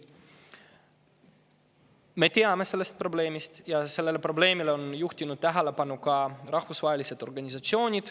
Me teame sellest probleemist ja sellele on juhtinud tähelepanu ka rahvusvahelised organisatsioonid.